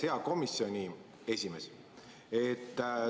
Hea komisjoni esimees!